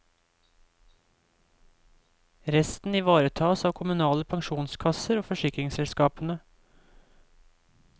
Resten ivaretas av kommunale pensjonskasser og forsikringsselskapene.